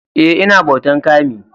Eh, I na bautan" kami"